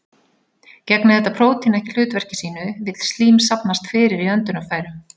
Gegni þetta prótín ekki hlutverki sínu vill slím safnast fyrir í öndunarfærum.